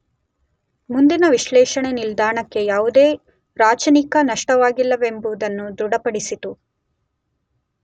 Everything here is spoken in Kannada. ಮುಂದಿನ ವಿಶ್ಲೇಷಣೆ ನಿಲ್ದಾಣಕ್ಕೆ ಯಾವುದೇ ರಾಚನಿಕ ನಷ್ಟವಾಗಿಲ್ಲವೆಂಬುದನ್ನು ದೃಢಪಡಿಸಿತು.